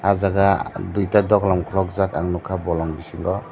oh jaga duita doklam khulukjak ang nukha bolong bisingo.